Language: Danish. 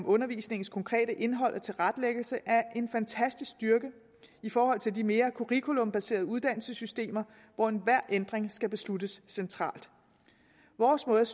undervisningens konkrete indhold og tilrettelæggelse er en fantastisk styrke i forhold til de mere curriculumbaserede uddannelsessystemer hvor enhver ændring skal besluttes centralt vores måde